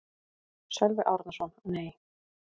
Sölvi Árnason: Nei.